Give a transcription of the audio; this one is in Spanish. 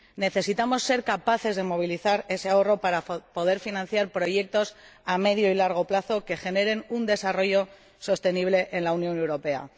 Necesitamos ser capaces de movilizar ese ahorro para poder financiar proyectos a medio y largo plazo que generen un desarrollo sostenible en la Unión Europea.